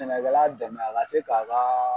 Sɛnɛkɛla dɛmɛ a ka se ka a ka